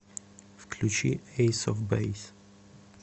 включи эйс оф бэйс